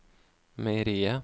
meieriet